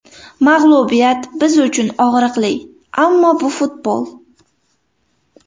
Mag‘lubiyat biz uchun og‘riqli, ammo bu futbol.